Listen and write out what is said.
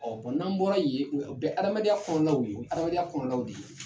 Ɔ n'an bɔra yen o bɛ adamadenya kɔnɔlaw ye hadamadenya kɔnɔlaw de ye